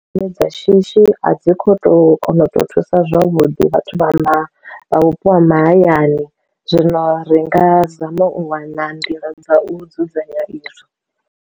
Nyimele dza shishi a dzi kho to kona u to thusa zwavhuḓi vhathu vha vhupo ha mahayani, zwino ri nga zama u wana nḓila dza u dzudzanya izwo.